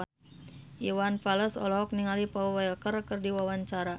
Iwan Fals olohok ningali Paul Walker keur diwawancara